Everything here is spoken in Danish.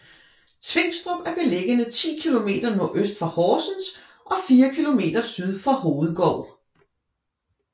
Tvingstrup er beliggende 10 kilometer nordøst for Horsens og fire kilometer syd for Hovedgård